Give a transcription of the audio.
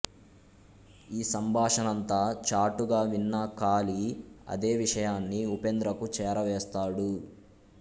ఈ సంభాషణంతా చాటుగా విన్న కాళీ అదే విషయాన్ని ఉపేంద్రకు చేరవేస్తాడు